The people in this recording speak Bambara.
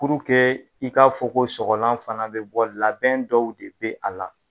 i k'a fɔ ko sɔgɔlan fana bi bɔ labɛn dɔw de bi a la